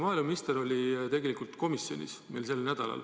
Maaeluminister oli sellel nädalal meil komisjonis.